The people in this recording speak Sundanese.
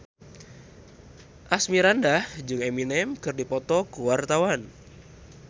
Asmirandah jeung Eminem keur dipoto ku wartawan